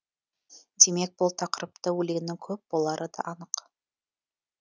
демек бұл тақырыпта өлеңнің көп болары да анық